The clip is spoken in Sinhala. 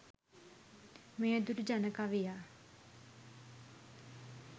මෙය දුටු ජන කවියා